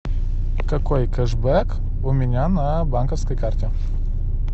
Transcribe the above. какой кэшбэк у меня на банковской карте